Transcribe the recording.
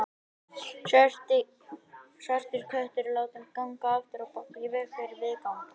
Svartur köttur látinn ganga afturábak í veg fyrir viðfang.